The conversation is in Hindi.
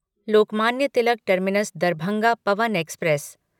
Lokmanya Tilak terminus Darbhanga Pawan express